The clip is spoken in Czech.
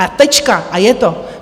A tečka a je to.